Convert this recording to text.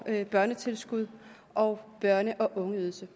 børnetilskuddet og børne og ungeydelsen